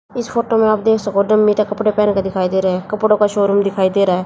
इस फोटो में आप देख सको कपड़े पहन के दिखाई दे रहे हैं कपड़ों का शोरूम दिखाई दे रहा है।